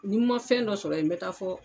N'i ma fɛn dɔ sɔrɔ yen n bɛ taa fɔ